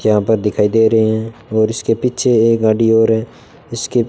यहां पर दिखाई दे रहे हैं और उसके पीछे एक गाड़ी और है इसके--